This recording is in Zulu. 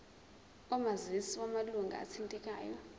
omazisi wamalunga athintekayo